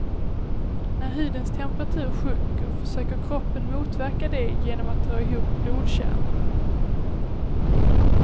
När hudens temperatur sjunker försöker kroppen motverka det genom att dra ihop blodkärlen.